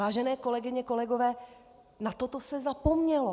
Vážené kolegyně, kolegové, na toto se zapomnělo!